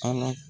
Ala